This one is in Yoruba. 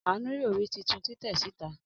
Anu yoo ri titun titẹ sita.